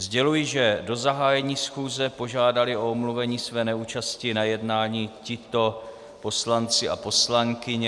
Sděluji, že do zahájení schůze požádali o omluvení své neúčasti na jednání tito poslanci a poslankyně.